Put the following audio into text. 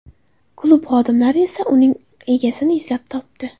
Klub xodimlari esa uning egasini izlab topdi.